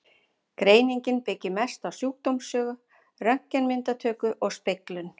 Greiningin byggist mest á sjúkdómssögu, röntgenmyndatöku og speglun.